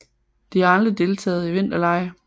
De har aldrig deltaget i vinterlege